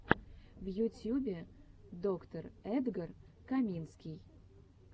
в ютьюбе доктор эдгар каминский